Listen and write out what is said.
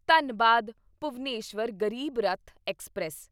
Dhanbad Bhubaneswar Garib Rath express